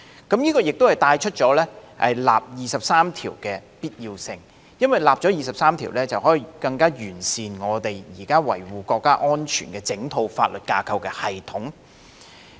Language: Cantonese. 這亦帶出就《基本法》第二十三條進行立法的必要性，因為只要制定相關法例，便可以令現時維護國家安全的整套法律架構的系統更臻完善。